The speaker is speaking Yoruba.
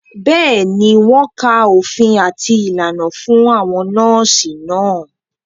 Bẹ́ẹ̀ni, wọ́n ka òfin àti ìlànà fún àwọn nọ́ọ̀sì náà